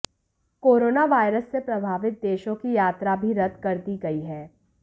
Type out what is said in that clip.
corona virus से प्रभावित देशों की यात्रा भी रद कर दी गई है